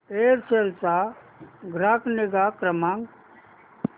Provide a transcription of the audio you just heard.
Aircel चा ग्राहक निगा क्रमांक